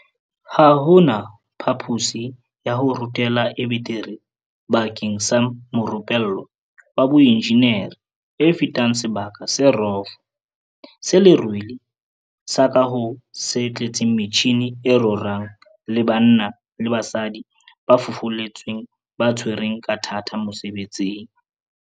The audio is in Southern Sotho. Ha ho na phapusi ya ho rutela e betere bakeng sa morupe llwa wa boenjeneri e fetang sebaka se rofo se lerwele sa kaho se tletseng metjhini e rorang le banna le basadi ba fufuletsweng ba tshwereng ka thata mosebetsing.